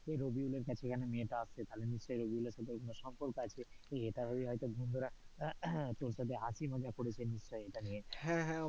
সেই রবিউলের কাছে মেই তা আছে তাহলে নিশ্চই রবিউলের সাথে কোনো সম্পর্ক আছে ইটা ভেবেই হয়তো বন্ধুরা তোর সাথে হয়তো হাসি মজা করেছে নিশ্চই ইটা নিয়ে,